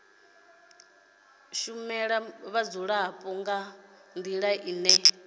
shumela vhadzulapo nga ndila ine